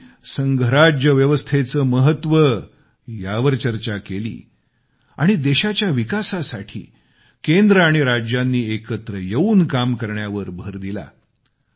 त्यांनी संघराज्य व्यवस्थेचं महत्व यावर चर्चा केली आणि देशाच्या विकासासाठी केंद्र आणि राज्यांनी एकत्र येऊन काम करण्यावर भर दिला